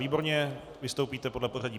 Výborně, vystoupíte podle pořadí.